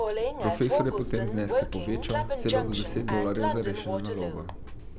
Profesor je potem zneske povečal, celo do deset dolarjev za rešeno nalogo.